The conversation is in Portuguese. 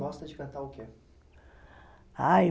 Gosta de cantar o quê? Ah,